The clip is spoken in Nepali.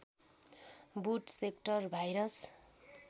boot sector virus